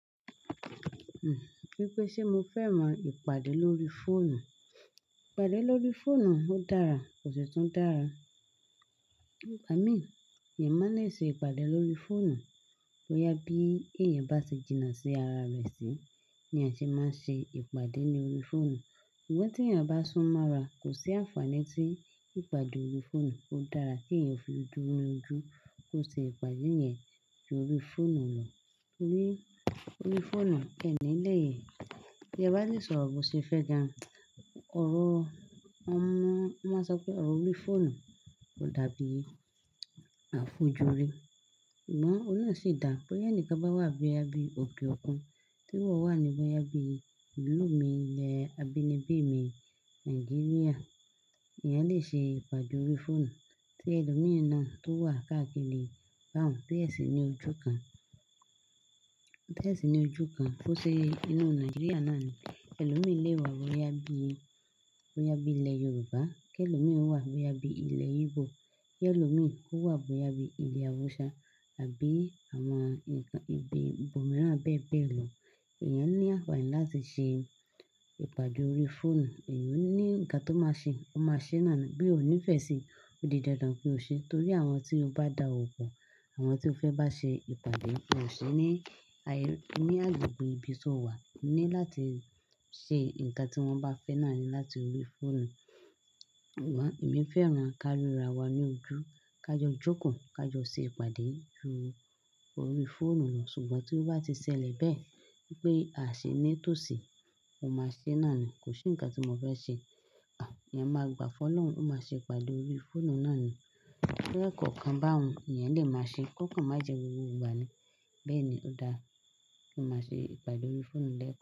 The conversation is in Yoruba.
Wípé ṣe mo fẹ́ràn ìpàdé lórí fóònù? Ìpàdé lórí fóònù ó dára, kò sì tún dára. Ìgbà mí, ìyẹn máa le ṣe ìpàdé lórí fóònù. Bóyá bí èèyàn bá ti jìnnà sí ara rẹ̀ sí, ni a ṣe máa ṣe ìpàdé ní orí fóònù. Ìyẹn tí èèyàn bá sún mọ́ra, kò sí àǹfààní tí ìpàdé orí fóònù. Ó dára kí èèyàn fi ojú nínú ojú kó ṣe ìpàdé yẹn ju orí fóònù lọ. Torí orí fóònù, ẹ́ní lẹ́, bí e bá lè sọ ọ̀rọ̀ bó ṣe fẹ́ gan. Ọ̀rọ̀, mọ̀ máa sọ pé ọ̀rọ̀ orí fóònù kò dàbí àfojúrí. Amọ́ oun náà sì dà, bóyá ẹni kan bá wà bóyá bí òkè òkun, tí ìwọ wà ní bóyá bí ìlú mi ilẹ̀ abínibí mi Nàìjíríà, èyàn lè ṣe ìpàdé orí fóònù. Tí ẹlòmí náà tó wà káàkiri bá òun ti ẹ̀ sìn ní ojú kan, tẹ̀ sì ní ojú kan tó ṣe inú Nàìjíríà náà ni, ẹlòmí lè wà bóyá bí, bóyá bí ilẹ̀ Yorùbá, kí ẹlòmí wà bóyá bí ilẹ̀ Igbo, kí ẹlòmí kó wà bóyá bí ilẹ̀ Awúsá àbí àwọn ǹkan ibi bòmíràn bẹ́ẹ̀ bẹ́ẹ̀ lọ. Ìyẹn ní àfààní láti ṣe ìpàdé orí fóònù. Èyàn ò ní ǹkan tó máa ṣe, o máa ṣe é nàá ni. Bí o ò nífẹ̀ẹ́ sí i, ó di dandan pé o ṣe ẹ́. Nítorí àwọn tí o bá dá ọwo pọ̀, àwọn tí o fẹ́ bá ṣe ìpàdé, ó ṣe ní ayé, ní agbègbè ibi tí o wà ní láti ṣe ǹkan tí wọ́n bá fẹ́ náà ni láti orí fóònù. Amọ́ èmi fẹ́ràn ka ríra wa lojú. Ká jọ jókòó, ká jọ ṣe ìpàdé ju orí fóònù lọ. Ṣùgbọ́n tí ó bá ti ṣẹlẹ̀ bẹ́ẹ̀ wípé a ṣi ní tòsí, mo máa ṣe é nàá ni. Kò sí ǹkan tí mo fẹ́ ṣe. Èèyàn máa gbà fọ́ lọ́hùn-ún, ó máa ṣe ìpàdé orí fóònù náà ni. Bí ẹ́ kọ̀ọ̀kan bá hun, èyàn lè máa ṣe é. Ọ̀ọ̀kan má jẹ gbogbo ìgbà ni. Bẹ́ẹ̀ ni ó dára. Ó máa ṣe ìpàdé orí fóònù lẹ́ kán.